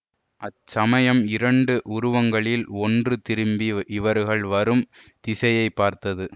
அச்சமயம் இரண்டு உருவங்களில் ஒன்று திரும்பி இவர்கள் வரும் திசையைப் பார்த்தது